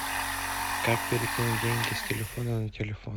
как перекинуть деньги с телефона на телефон